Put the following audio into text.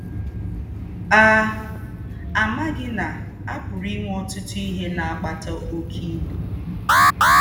à àmāghī nà à pūrū ìnwē ọ̀tūtū íhē nà-àkpàtà ókē íbū